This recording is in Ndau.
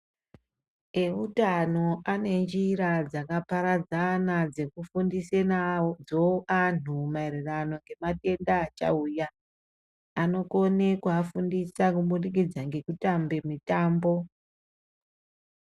Eutano ane njira dzakaparadzana dzekufundise nadzo antu maererano ngematenda achauya. Anokone kuafundisa kubudikidza ngekutambe mitambo.